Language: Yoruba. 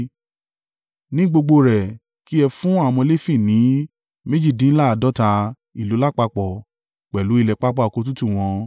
Ní gbogbo rẹ̀, kí ẹ fún àwọn ọmọ Lefi ní méjìdínláàádọ́ta ìlú lápapọ̀ pẹ̀lú ilẹ̀ pápá oko tútù wọn.